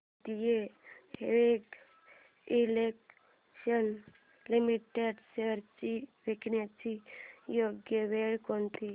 Bharat heavy electricals limited shares विकण्याची योग्य वेळ कोणती